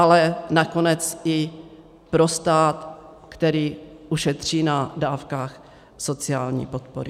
Ale nakonec i pro stát, který ušetří na dávkách sociální podpory.